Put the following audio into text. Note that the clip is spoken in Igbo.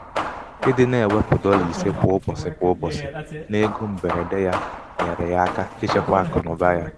ịdị na -ewepụ dọla ise kwa ụbọchị kwa ụbọchị n'ego mgberede yá nyeere ya aka ichekwa akụnaụba ya.